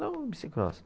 um bicicross.